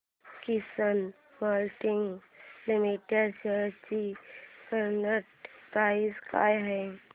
किसान moulding limited shares ची current price काय आहे